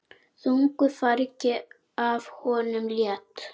Þungu fargi af honum létt.